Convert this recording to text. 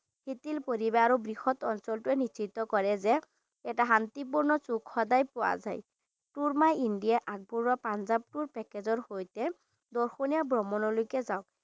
সিঠিল পৰিবেশ আৰু বৃহৎ অঞ্চলটোৱে নিশ্চিত কৰে যে এটা শান্তিপূৰ্ণ চুক সদাই পোৱা যাই Tour my India আগবঢ়োৱা পাঞ্জাব Tour সইতে দৰ্শনীয়া ভ্ৰমণলৈকে যাওক।